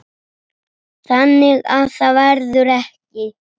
Þannig að það verður ekki.